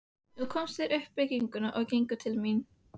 Nú komu þeir upp bryggjuna og gengu til mín.